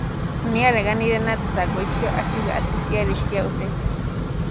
Nĩ aareganire na thitango icio akiuga atĩ ciarĩ cia ũteti.